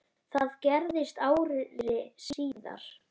Það gerðist ári síðar.